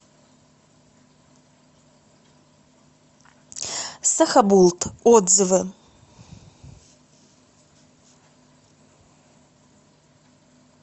сахабулт отзывы